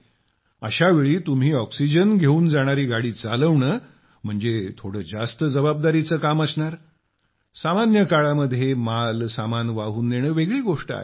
अशावेळी तुम्ही ऑक्सिजन घेऊन जाणारी गाडी चालवणं म्हणजे थोडं जास्त जबाबदारीच काम असणार सामान्य काळात माल सामान वाहून नेणं वेगळी गोष्ट आहे